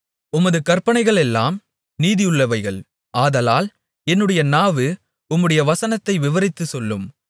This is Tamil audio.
உமது கற்பனைகளெல்லாம் நீதியுள்ளவைகள் ஆதலால் என்னுடைய நாவு உம்முடைய வசனத்தை விவரித்துச் சொல்லும்